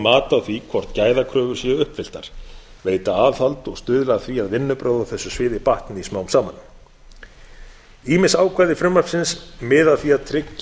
mat á því hvort gæðakröfur séu uppfylltar veita aðhald og stuðla að því að vinnubrögð á þessu sviði batni smám saman ýmis ákvæði frumvarpsins miða að því að tryggja